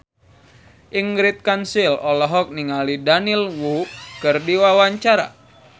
Ingrid Kansil olohok ningali Daniel Wu keur diwawancara